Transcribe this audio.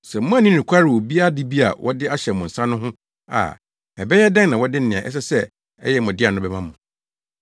Sɛ moanni nokware wɔ obi ade bi a wɔde ahyɛ mo nsa no ho a, ɛbɛyɛ dɛn na wɔde nea ɛsɛ sɛ ɛyɛ mo dea no bɛma mo?